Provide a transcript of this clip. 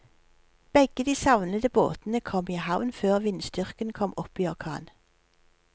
Begge de savnede båtene kom i havn før vindstyrken kom opp i orkan.